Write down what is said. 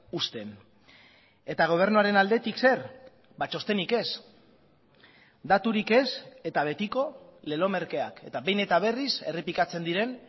uzten eta gobernuaren aldetik zer txostenik ez daturik ez eta betiko lelo merkeak eta behin eta berriz errepikatzen diren